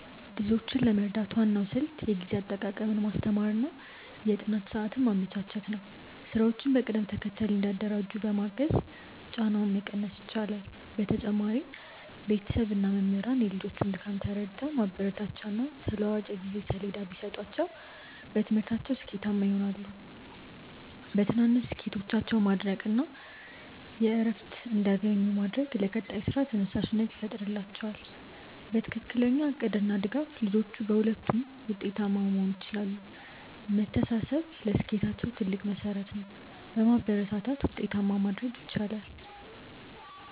ልጆችን ለመርዳት ዋናው ስልት የጊዜ አጠቃቀምን ማስተማር እና የጥናት ሰዓት ማመቻቸት ነው። ስራዎችን በቅደም ተከተል እንዲያደራጁ በማገዝ ጫናውን መቀነስ ይቻላል። በተጨማሪም ቤተሰብ እና መምህራን የልጆቹን ድካም ተረድተው ማበረታቻና ተለዋዋጭ የጊዜ ሰሌዳ ቢሰጧቸው በትምህርታቸው ስኬታማ ይሆናሉ። በትናንሽ ስኬቶቻቸው ማድነቅ እና እረፍት እንዲያገኙ ማድረግ ለቀጣይ ስራ ተነሳሽነት ይፈጥርላቸዋል። በትክክለኛ እቅድ እና ድጋፍ ልጆቹ በሁለቱም ውጤታማ መሆን ይችላሉ። መተሳሰብ ለስኬታቸው ትልቅ መሠረት ነው። በማበረታታት ውጤታማ ማድረግ ይቻላል።